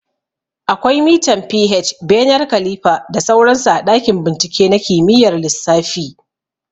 Akwai mitan pH, bener kalifa da sauran su a ɗakin bincike na kimiyyar lissafi